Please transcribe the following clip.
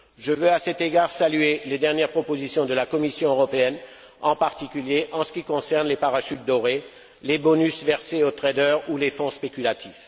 Je veux, à cet égard, saluer les dernières propositions de la Commission européenne, en particulier en ce qui concerne les parachutes dorés, les bonus versés aux traders ou les fonds spéculatifs.